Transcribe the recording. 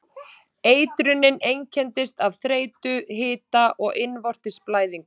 Eitrunin einkennist af þreytu, hita og innvortis blæðingum.